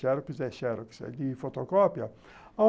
Xerox é Xerox, é de fotocópia.